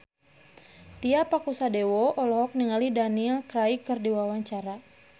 Tio Pakusadewo olohok ningali Daniel Craig keur diwawancara